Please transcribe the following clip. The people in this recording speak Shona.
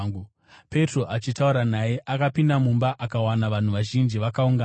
Petro achitaura naye, akapinda mumba akawana vanhu vazhinji vakaungana.